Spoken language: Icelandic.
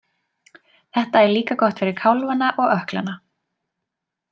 Þetta er líka gott fyrir kálfana og ökklana.